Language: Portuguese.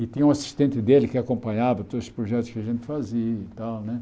E tinha um assistente dele que acompanhava todos os projetos que a gente fazia e tal, né?